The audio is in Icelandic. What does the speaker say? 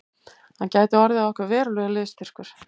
Hann gæti orðið okkur verulegur liðsstyrkur